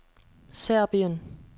Serbien